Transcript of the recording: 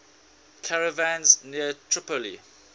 caravans near tripoli